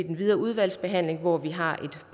den videre udvalgsbehandling hvor vi har et